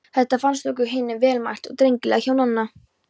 Þetta fannst okkur hinum vel mælt og drengilega hjá Nonna.